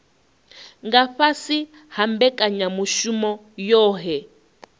nga fhasi ha mbekanyamushumo yohe